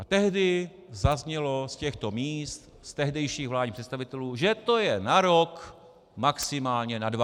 A tehdy zaznělo z těchto míst od tehdejších vládních představitelů, že to je na rok, maximálně na dva.